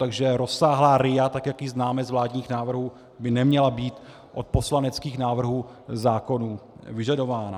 Takže rozsáhlá RIA, tak jak ji známe z vládních návrhů, by neměla být od poslaneckých návrhů zákonů vyžadována.